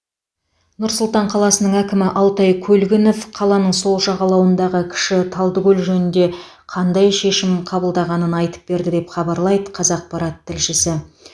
нұр сұлтан қаласының әкімі алтай көлгінов қаланың сол жағалауындағы кіші талдыкөл жөнінде қандай шешім қабылданғанын айтып берді деп хабарлайды қазақпарат тілшісі